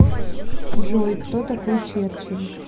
джой кто такой черчилль